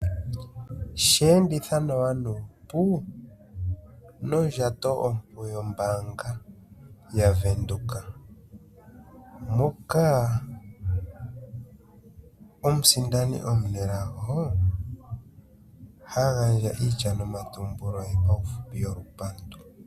Sheenditha nawa nuupu mondjato ompu yombaanga yaVenduka moka omusindani omunelago ha gandja iitya nomatumbulo paufupi yolupandu.